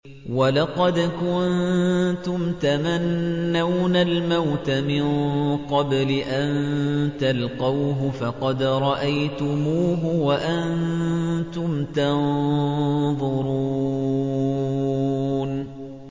وَلَقَدْ كُنتُمْ تَمَنَّوْنَ الْمَوْتَ مِن قَبْلِ أَن تَلْقَوْهُ فَقَدْ رَأَيْتُمُوهُ وَأَنتُمْ تَنظُرُونَ